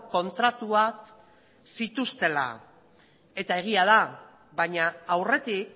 kontratuak zituztela eta egia da baina aurretik